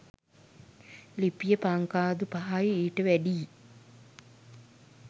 ලිපිය පංකාදු පහයි ඊට වැඩියි